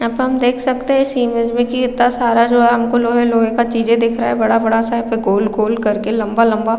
यहाँ पे हम देख सकते है इस इमेज में की इत्ता सारा जो है हमको लोहै-लोहै का चीजे दिख रहा है बड़ा-बड़ा सा यहाँ पे गोल-गोल करके लंबा-लंबा --